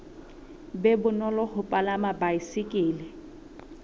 be bonolo ho palama baesekele